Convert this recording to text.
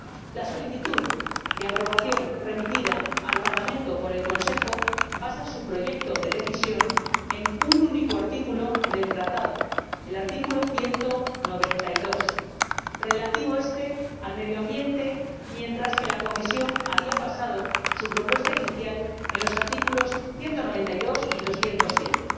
La solicitud de aprobación remitida al Parlamento por el Consejo basa su proyecto de Decisión en un único artículo del Tratado, el artículo 192, relativo al medio ambiente, mientras que la Comisión había basado su propuesta inicial en los artículos 192 y 207,